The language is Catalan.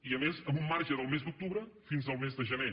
i a més amb un marge del mes d’octubre fins al mes de gener